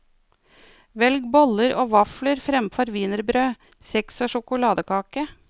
Velg boller og vafler fremfor wienerbrød, kjeks og sjokoladekake.